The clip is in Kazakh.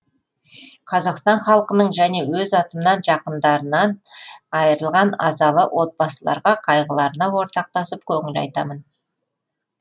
қазақстан халқының және өз атымнан жақындарынан айырылған азалы отбасыларға қайғыларына ортақтасып көңіл айтамын